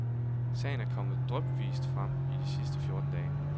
Sagen er kommet drypvist frem i de sidste fjorten dage.